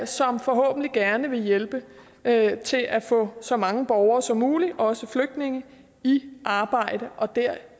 som forhåbentlig gerne vil hjælpe med til at få så mange borgere som muligt også flygtninge i arbejde og det